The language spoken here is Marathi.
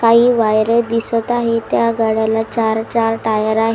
काही वायरे दिसत आहे त्या गाड्याला चार चार टायर आहे.